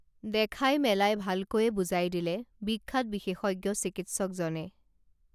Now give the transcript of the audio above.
দেখাই মেলাই ভালকৈয়ে বুজাই দিলে বিখ্যাত বিশেষজ্ঞ চিকিৎসকজনে